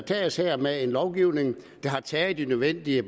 tages her med en lovgivning der tager de nødvendige